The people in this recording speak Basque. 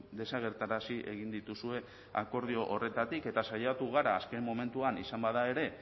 desagerrarazi egin dituzue akordio horretatik eta saiatu gara azken momentuan izan bada ere